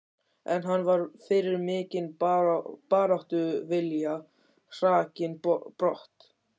En hann var fyrir mikinn baráttuvilja hrakinn brott.